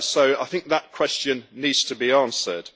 I think that question needs to be answered.